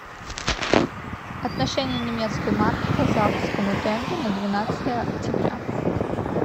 отношение немецкой марки к казахскому тенге на двенадцатое октября